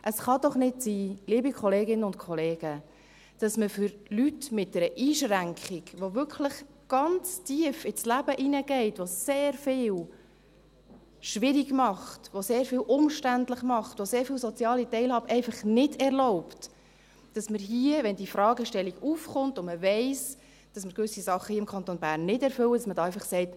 » Es kann doch nicht sein, liebe Kolleginnen und Kollegen, dass man für Leute mit einer Einschränkung, die wirklich ganz tief ins Leben hineingeht, die sehr vieles schwierig macht, die sehr vieles umständlich macht, die sehr oft soziale Teilhabe nicht erlaubt, wenn die Fragestellung aufkommt und man weiss, dass wir im Kanton Bern gewisse Dinge nicht erfüllen, hier einfach sagt: